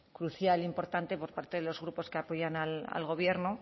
crucial importante por parte de los grupos que apoyan al gobierno